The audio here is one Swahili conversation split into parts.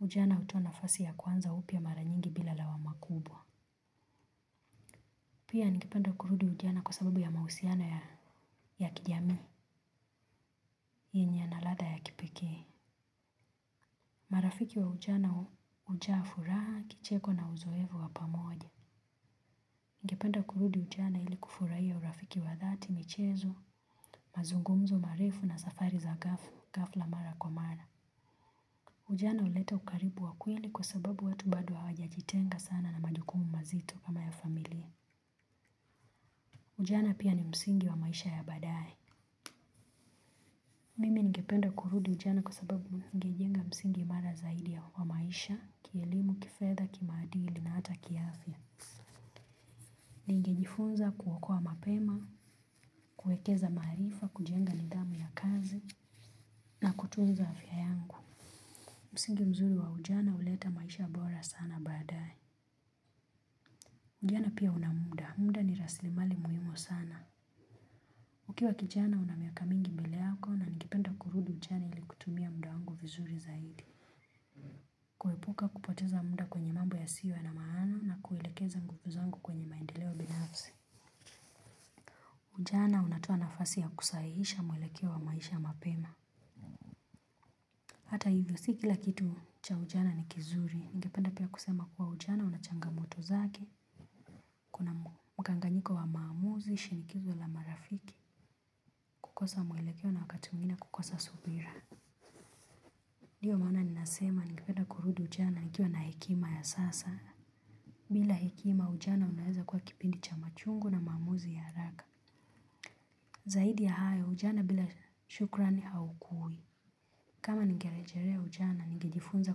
Ujana hutoa nafasi ya kuanza upya mara nyingi bila lawama kubwa. Pia ningependa kurudi ujana kwa sababu ya mahusiano ya kijamii, yenye yanaladha ya kipekee. Marafiki wa ujana hujaa furaha, kicheko na uzoefu wa pamoja. Ningependa kurudi ujana ili kufurahia urafiki wa dhati, michezo, mazungumzo marefu na safari za ghafla mara kwa mara. Ujana huleta ukaribu wa kweli kwa sababu watu bado hawajajitenga sana na majukumu mazito kama ya familia. Ujana pia ni msingi wa maisha ya baadaye. Mimi ningependa kurudi ujana kwa sababu ningejenga msingi imara zaidi ya kwa maisha, kielimu, kifedha, kimaadili na hata kiafya. Ningejifunza kuokoa mapema, kuekeza maarifa, kujenga nidhamu ya kazi na kutunza afya yangu. Msingi mzuri wa ujana huleta maisha bora sana baadaye. Ujana pia una muda. Muda ni rasilimali muhimu sana. Ukiwa kijana una miaka mingi mbele yako na ningependa kurudi ujana ili kutumia muda wangu vizuri zaidi. Kuepuka kupoteza muda kwenye mambo yasiyo na maana na kuelekeza nguvu zangu kwenye maendeleo binafsi. Ujana unatoa nafasi ya kusahihisha mwelekeo wa maisha mapema. Hata hivyo si kila kitu cha ujana ni kizuri, ningependa pia kusema kuwa ujana una changamoto zake, kuna mkanganyiko wa maamuzi, shinikizo la marafiki, kukosa mwelekeo na wakati mwingine kukosa subira. Ndiyo maana ninasema ningependa kurudi ujana nikiwa na hekima ya sasa. Bila hekima ujana unaweza kuwa kipindi cha machungu na maamuzi ya haraka. Zaidi ya hayo ujana bila shukrani haukui. Kama ningerejelea ujana ningejifunza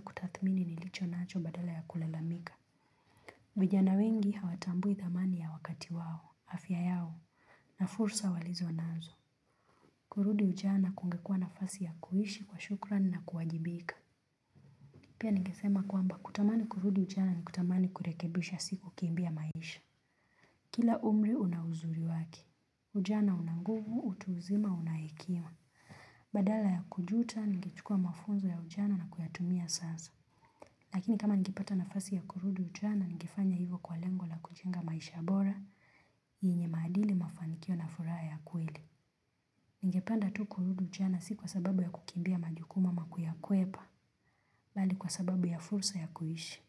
kutathmini nilicho nacho badala ya kulalamika. Vijana wengi hawatambui thamani ya wakati wao. Afya yao na fursa walizonazo. Kurudi ujana kungekuwa nafasi ya kuishi kwa shukrani na kuwajibika. Pia ningesema kwamba kutamani kurudi ujana ni kutamani kurekebisha si kukimbia maisha. Kila umri una uzuri wake. Ujana una nguvu, utu uzima una hekima. Badala ya kujuta, ningechukua mafunzo ya ujana na kuyatumia sasa. Lakini kama ningepata nafasi ya kurudi ujana, ningefanya hivyo kwa lengo la kujenga maisha bora, yenye maadili, mafanikio na furaha ya kweli. Ningependa tu kurudi ujana si kwa sababu ya kukimbia majuku ama kuyakwepa, bali kwa sababu ya fursa ya kuishi.